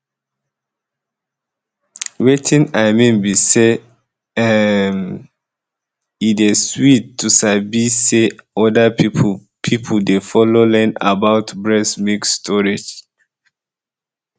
wetin i mean be say um ehm um e dey sweet to sabi say other people people dey follow learn about breast milk storage